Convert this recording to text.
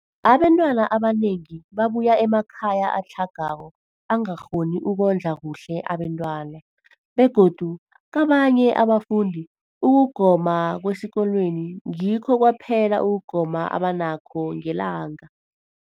Abantwana abanengi babuya emakhaya atlhagako angakghoni ukondla kuhle abentwana, begodu kabanye abafundi, ukugoma kwesikolweni ngikho kwaphela ukugoma abanakho ngelanga.